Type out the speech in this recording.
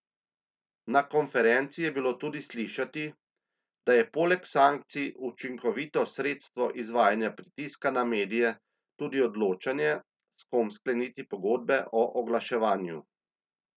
Na konferenci je bilo tudi slišati, da je poleg sankcij učinkovito sredstvo izvajanja pritiska na medije tudi odločanje, s kom skleniti pogodbe o oglaševanju.